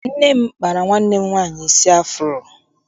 Nne m kpara nwanne m nwaanyị isi afuro.